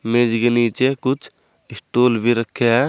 मेज के नीचे कुछ स्टूल भी रखे हैं।